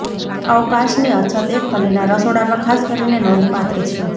અવકાશની અછત એક ખંડના રસોડામાં ખાસ કરીને નોંધપાત્ર છે